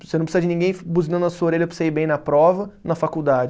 Você não precisa de ninguém buzinando na sua orelha para você ir bem na prova, na faculdade.